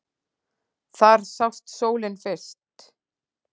Þar sást sólin fyrr.